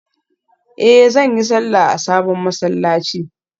Eh zan yi sallah a sabon masallaci